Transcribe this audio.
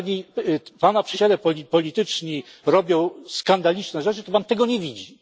Jeżeli Pana przyjaciele polityczni robią skandaliczne rzeczy, to Pan tego nie widzi.